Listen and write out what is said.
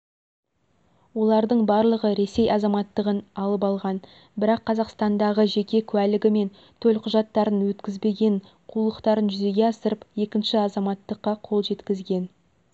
олардың барлығы ресей азаматтығын алып алған бірақ қазақстандағы жеке куәлігі мен төлқұжаттарын өткізбеген қулықтарын жүзеге асырып екінші азаматтыққа қол жеткізген